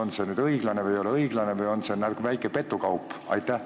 Kas see on õiglane või ei ole õiglane, vaid väike petukaup?